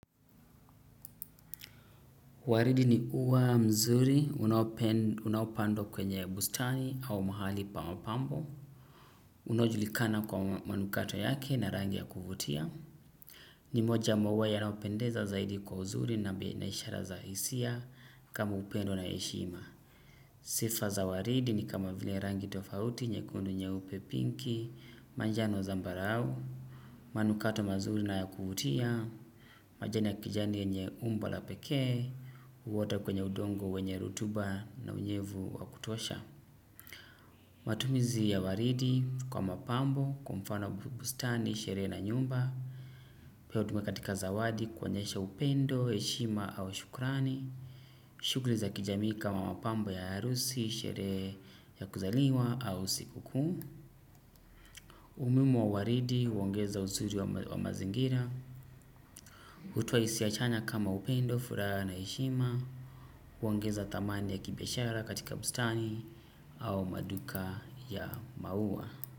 Waridi ni uwa mzuri, unaupandwa kwenye bustani au mahali pa mapambo. Unaojulikana kwa manukato yake na rangi ya kuvutia. Nimoja mwa uwa yanayopendeza zaidi kwa uzuri na pia inaishara za hisia kama upendo na heshima. Sifa za waridi ni kama vile rangi tofauti nyekundu nye pinki, manjano zambarau. Manukato mazuri na ya kuvutia, majani ya kijani yenye umbo la pekee, uota kwenye udongo wenye rotuba na unyevu wa kutosha. Matumizi ya waridi kwa mapambo, kwa mfano bustani, sherehe na nyumba. Pia hutumika katika zawadi kuonyesha upendo, heshima au shukrani. Shuguli za kijamii kama mapambo ya harusi, sherehe ya kuzaliwa au sikuku. Umuhimu wa waridi huongeza uzuri wa mazingira. Hutoa hisia chanya kama upendo furaha na heshima kuongeza thamani ya kibiashara katika bustani au maduka ya maua.